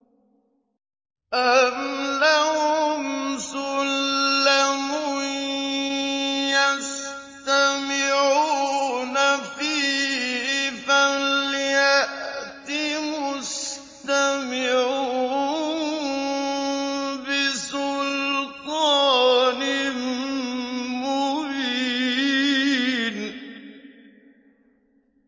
أَمْ لَهُمْ سُلَّمٌ يَسْتَمِعُونَ فِيهِ ۖ فَلْيَأْتِ مُسْتَمِعُهُم بِسُلْطَانٍ مُّبِينٍ